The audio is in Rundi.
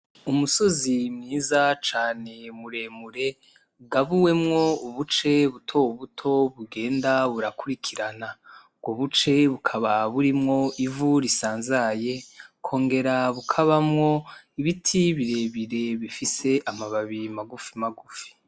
Umusozi mwiza cane muremure ,ugabuwemwo ubuce butobuto bugenda burakurikirana; ubwo Buce Bukaba burimwo ivu risanzaye ,bukongera bukabamwo ibiti birebire bifise amababi magufi magufi.